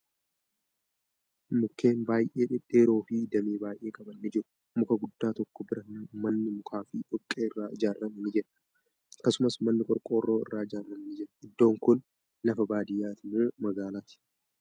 Mukkeen baay'ee dhedheeroo fi damee baay'ee qaban ni jiru. Muka guddaa tokko bira manni mukaa fi dhoqqee irraa ijaarame ni jira. Akkasumas, manni qorqorroo irraa ijaarame ni jira. Iddoon kuni lafa baadiyyaati moo magaalati?